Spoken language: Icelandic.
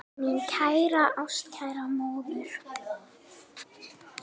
Mín kæra ástkæra móðir.